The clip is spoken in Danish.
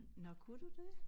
Nåh kunne du det?